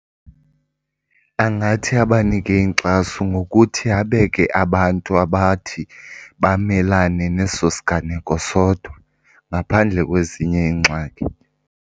Angathi abanike inkxaso ngokuthi abeke abantu abathi bamelane neso siganeko sodwa ngaphandle kwezinye iingxaki.